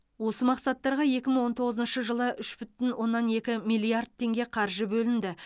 осы мақсаттарға екі мың он тоғызыншы жылы үш бүтін оннан екі миллиард теңге қаржы бөлінді